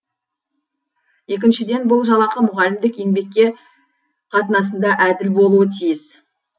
екіншіден бұл жалақы мұғалімдік еңбекке қатынасында әділ болуы тиіс